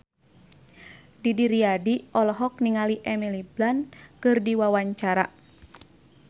Didi Riyadi olohok ningali Emily Blunt keur diwawancara